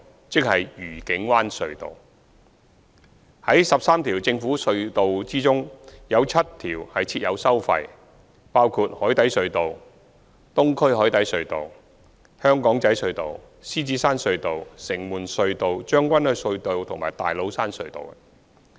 在13條政府隧道中，有7條設有收費，包括海底隧道、東區海底隧道、香港仔隧道、獅子山隧道、城門隧道、將軍澳隧道和大老山隧道。